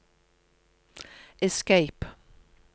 escape